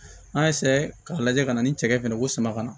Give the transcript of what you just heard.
N'a y'a k'a lajɛ ka na ni cɛkɛ fɛnɛ ye ko sama ka na